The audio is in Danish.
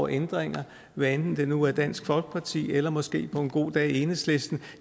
ændringer hvad enten det nu har været dansk folkeparti eller måske på en god dag enhedslisten